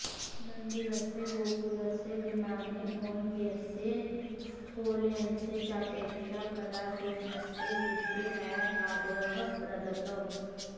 मन्दिरस्य गोपुरस्य विमाने औन्नत्यस्य स्थौल्यंस्य चापेक्षया कलासूक्ष्मस्य विषये एव आदरः प्रदत्तः